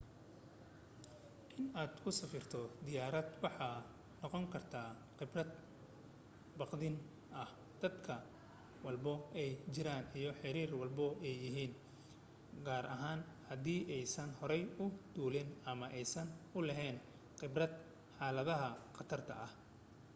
in aad ku safarto diyaarad waxay noqon karta qibrad baqdin ah dadka da' walba ay jiraan iyo xeer walba ay yahin gaar ahaan haddii aysan hore u duulin ama aysan u laheyn qibrad xaladaha qatarta ah